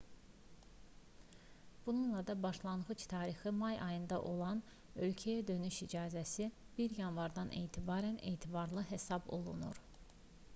bununla da başlanğıc tarixi may ayında olan ölkəyə dönüş icazəsi 1 yanvardan etibarən etibarlı hesab olunur